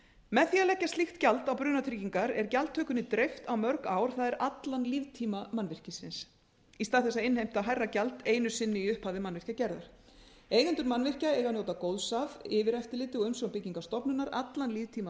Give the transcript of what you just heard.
með því að leggja slíkt gjald á brunatryggingar er gjaldtökunni dreift á mörg ár það er allan líftíma mannvirkisins í stað þess að innheimta hærra gjald einu sinni í upphafi mannvirkjagerðar eigendur mannvirkja eiga að njóta góðs af yfireftirliti og umsjón byggingarstofnunar allan líftíma